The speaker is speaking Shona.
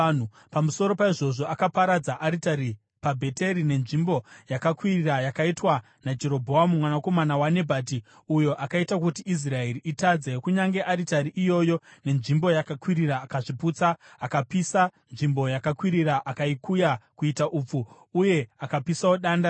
Pamusoro paizvozvo, akaparadza aritari paBheteri nenzvimbo yakakwirira yakaitwa naJerobhoamu mwanakomana waNebhati, uyo akaita kuti Israeri itadze, kunyange aritari iyoyo nenzvimbo yakakwirira akazviputsa. Akapisa nzvimbo yakakwirira akaikuya kuita upfu, uye akapisawo danda raAshera.